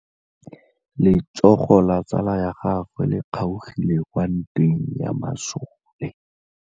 Letsôgô la tsala ya gagwe le kgaogile kwa ntweng ya masole.